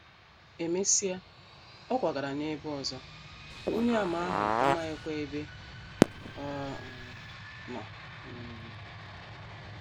E mesịa, ọ kwagara n’ebe ọzọ, Onyeàmà ahụ amaghịkwa ebe ọ um nọ um.